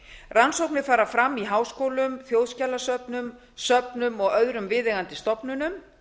rannsóknir fara fram í háskólum þjóðfélagssöfnum söfnum og öðrum viðeigandi stofnunum